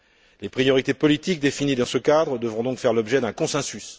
Les priorités politiques définies dans ce cadre devront donc faire l'objet d'un consensus.